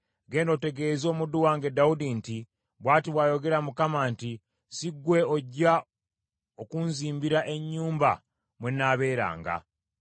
“Genda otegeeze omuddu wange Dawudi nti, ‘Bw’ati bw’ayogera Mukama nti si gwe ojja okunzimbira ennyumba mwe nnaabeeranga.